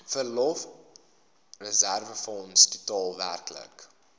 verlofreserwefonds totaal werklik